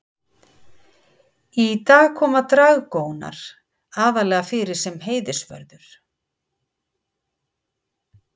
í dag koma dragónar aðallega fyrir sem heiðursvörður